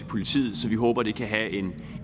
politiet så vi håber det kan have